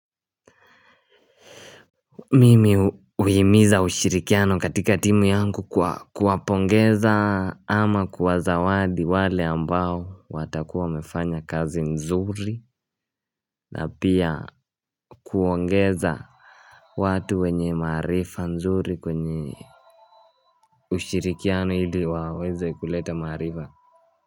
Mimi huhimiza ushirikiano katika timu yangu kwa kuwapongeza ama kuwazawadi wale ambao watakuwa wamefanya kazi nzuri na pia kuongeza watu wenye maarifa nzuri kwenye ushirikiano ili waweze kuleta maarifa.